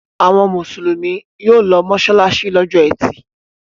Àwọn Mùsùlùmí yóò lọ mọ́ṣáláṣí lọ́jọ́ ẹtì.